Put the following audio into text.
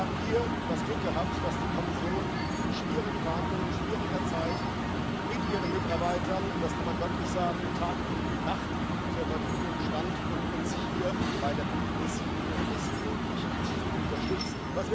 Wir haben hier das Glück gehabt, dass die Kommission in schwierigen Verhandlungen, in schwieriger Zeit mit ihren Mitarbeitern das kann man wörtlich sagen Tag und Nacht zur Verfügung stand, um uns hier bei der Kompromissfindung bestmöglich zu unterstützen.